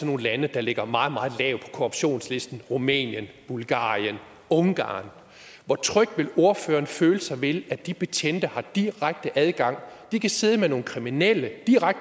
nogle lande der ligger meget meget lavt korruptionslisten rumænien bulgarien ungarn hvor tryg vil ordføreren så føle sig ved at de betjente har direkte adgang de kan sidde med nogle kriminelle